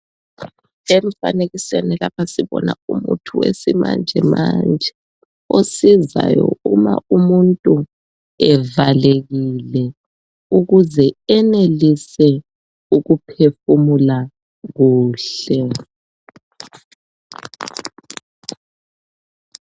Emfanekiseni lapha sibona umuthi wesimanjemanje osizayo uma umuntu evalekile ukuze enelise ukuphefumula kuhle